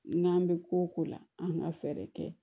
N'an bɛ ko o ko la an ka fɛɛrɛ kɛ